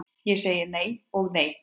Ég segi nei og nei.